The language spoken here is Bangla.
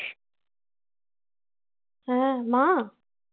হ্যাঁ মা?